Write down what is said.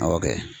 Awɔ kɛ